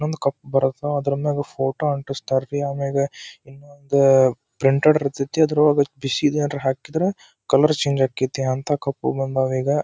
ಇನ್ನೊಂದು ಕಪ್ಪು ಬರ್ತವ ಅದರಮ್ಯಾಗ ಫೋಟೋ ಆಂಟಿಸ್ತಾರ ರೀ ಆಮೆಗೆ ಇನ್ನೊಂದು ಪ್ರಿಂಟೆಡ್ ಇರ್ತದೆ ಅದ್ರೊಳಗೆ ಬಿಸಿದು ಏನಾದ್ರೆ ಹಾಕಿದ್ರೆ ಕಲರ್ ಚೇಂಜ್ ಆಗ್ತಿದೆ ಇಂಥ ಕಪ್ಪು ಬಂದಾವು ಈಗ.